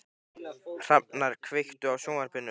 Hrafnar, kveiktu á sjónvarpinu.